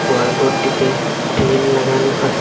গোয়াল ঘরটিতে টিন লাগানো আসে।